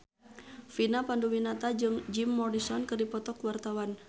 Vina Panduwinata jeung Jim Morrison keur dipoto ku wartawan